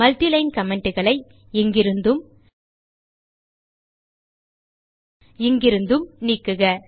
multi line commentகளை இங்கிருந்தும் இங்கிருந்தும் நீக்குக